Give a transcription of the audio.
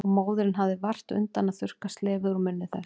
Og móðirin hafði vart undan að þurrka slefið úr munni þess.